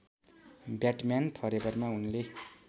Batman फरेभरमा उनले